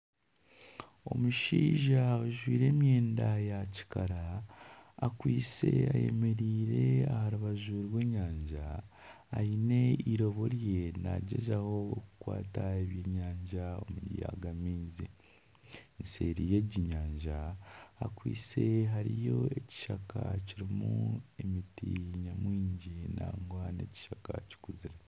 Omushaija ojwire emyenda ya kikara akwiste ayemereire aha rubaju rw'enyanja aine irobo rye nagyezaho kukwata ebyenyanja omu ryaga maizi. Eseeri y'egi nyanja hakwitse hariyo ekishaka kirimu emiti nyamwingi nangwa nekiskaka kikuzire.